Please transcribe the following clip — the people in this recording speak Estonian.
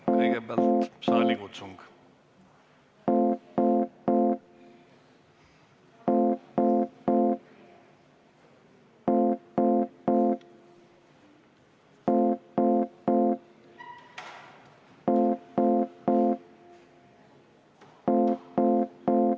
Kõigepealt saalikutsung.